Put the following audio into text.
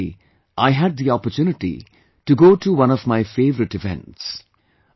Recently, I had the opportunity to go to one of my favorite events